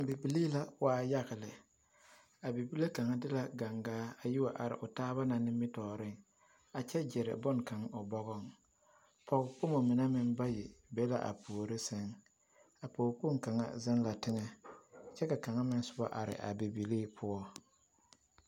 Bibilii la waa yaga lɛ, a bibile kaŋa de la gaŋgaa a yi wa are o taaba na nimitɔɔreŋ a kyɛ gere boŋkaŋa o bɔgɔŋ, pɔgekpomo mine meŋ bayi be la a puori seŋ, a pɔgekpoŋ kaŋ zeŋ la teŋɛ kyɛ ka kaŋa meŋ sobɔ are a bibilii poɔ.